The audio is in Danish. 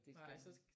Nej så